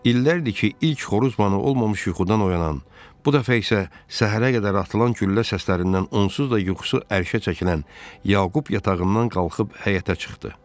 İllərdir ki, ilk xoruz banı olmamış yuxudan oyanan, bu dəfə isə səhərə qədər atılan güllə səslərindən onsuz da yuxusu ərşə çəkilən Yaqub yatağından qalxıb həyətə çıxdı.